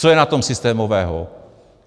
Co je na tom systémového?